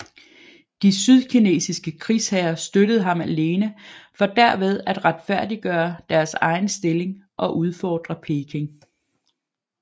De sydkinesiske krigsherrer støttede ham alene for derved at retfærdiggøre deres egen stilling og udfordre Peking